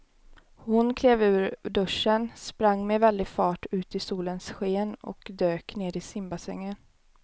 Hon klev ur duschen, sprang med väldig fart ut i solens sken och dök ner i simbassängen.